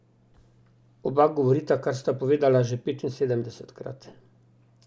Oba govorita, kar sta povedala že petinsedemdesetkrat.